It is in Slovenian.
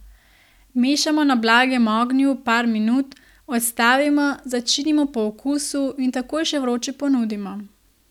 Mešamo na blagem ognju par minut, odstavimo, začinimo po okusu in takoj še vroče ponudimo.